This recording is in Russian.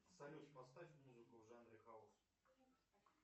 салют поставь музыку в жанре хаус